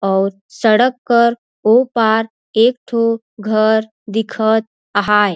अऊ सड़क कर ओ पार एक ठो घर दिखत आहैं।